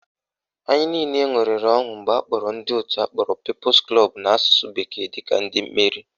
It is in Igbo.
Anyị niile ṅụrịrị ọṅụ mgbe akpọrọ ndị òtù akpọrọ Peoples Club n'asụsụ bekee dịka ndị meriri